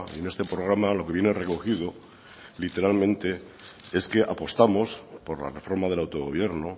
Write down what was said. en este programa lo que viene recogido literalmente es que apostamos por la reforma del autogobierno